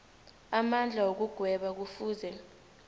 amandla wokugweba kufuze